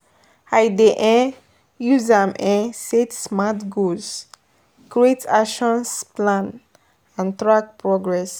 I dey um use am um set smart goals, create actions plan and track progress.